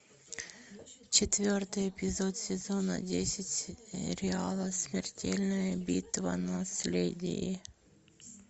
четвертый эпизод сезона десять сериала смертельная битва наследие